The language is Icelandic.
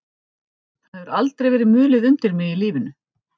Það hefur aldrei verið mulið undir mig í lífinu.